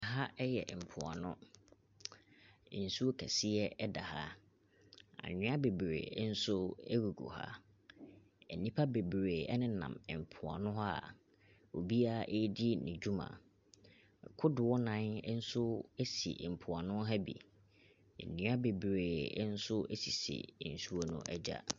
Aha yɛ mpoano. Nsuo kɛseɛ da ha. Anwea bebree nso gugu ha. Nnipa bebree nenam mpoano hɔ a obiara redi ne dwuma. Kodoɔ nnan nso soso mpoano ha bi. Nnua bebree nso sisi nsuo no agya.